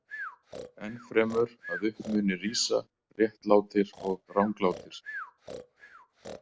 Enn fremur að upp muni rísa réttlátir og ranglátir.